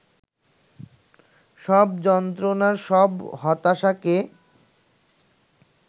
সব যন্ত্রণা, সব হতাশাকে